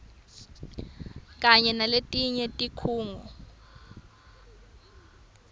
kanye naletinye tikhungo